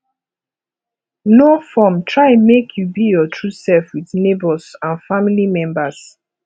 no form try make you be your true self with neigbours and family members